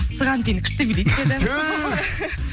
сыған биін күшті билейді деді